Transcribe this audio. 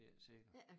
Det er ikke sikkert